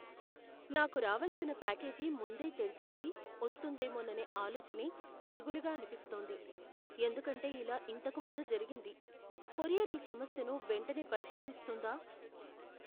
నాకు రావలసిన ప్యాకేజీ ముందే తెరిచేసి వస్తుందేమోననే ఆలోచనే దిగులుగా అనిపిస్తోంది, ఎందుకంటే ఇలా ఇంతకు ముందు జరిగింది, కొరియర్ ఈ సమస్యను వెంటనే పరిష్కరిస్తుందా?